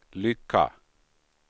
lycka